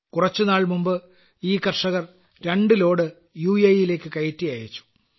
കുറച്ചുസമയം മുമ്പുതന്നെ ഈ കർഷകർ 2 ലോഡ് യു എ ഇ യിലേയ്ക്ക് കയറ്റി അയച്ചു